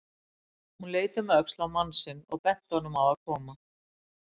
Hún leit um öxl á mann sinn og benti honum á að koma.